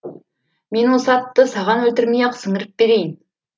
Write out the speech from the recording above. мен осы атты саған өлтірмей ақ сіңіріп берейін